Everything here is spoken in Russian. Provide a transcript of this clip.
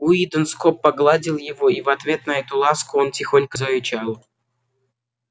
уидон скоп погладил его и в ответ на эту ласку он тихонько зарычал